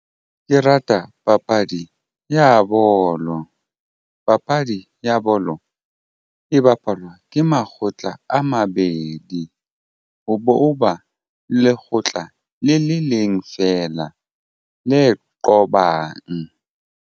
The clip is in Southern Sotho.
Ke rata papadi ya bolo. Papadi ya bolo e bapalwa ke makgotla a mabedi ho bo ba lekgotla le le leng fela le qobang.